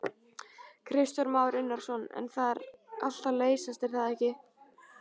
Kristján Már Unnarsson: En það er allt að leysast er það ekki?